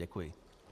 Děkuji.